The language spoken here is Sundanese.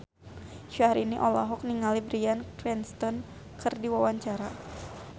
Syahrini olohok ningali Bryan Cranston keur diwawancara